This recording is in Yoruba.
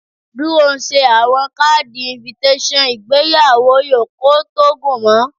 Duro nse awọn kaadi invttation, igbeyawo yoo ko to gun mu